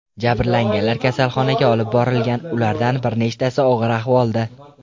Jabrlanganlar kasalxonaga olib borilgan, ulardan bir nechtasi og‘ir ahvolda.